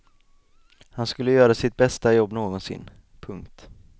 Han skulle göra sitt bästa jobb någonsin. punkt